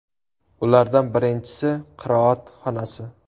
Ulardan birinchisi qiroat xonasi.